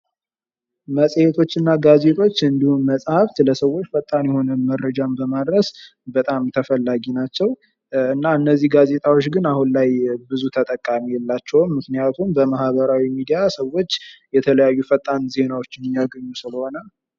መጽሔቶችና ጋዜጦች እንዲሁም መጽሐፍ ለሰዎች በጣም ፈጣን መረጃ በማድረስ በጣም ተፈላጊ ናቸው ፤ እነዚህ ነገሮች ግን አሁን ላይ ብዙ ተጠቃሚ የላቸውም ምክንያቱም በማህበራዊ ሚዲያዎች ሰዎች መረጃዎችን ማግኘት ስለቻሉ።